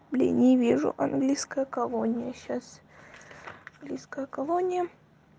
блин не вижу английская колония сейчас английская колония